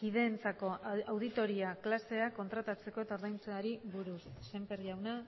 kideentzako oratoria klaseak kontratatzea eta ordaintzeari buruz sémper jauna